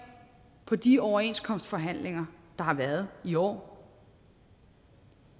på de overenskomstforhandlinger der har været i år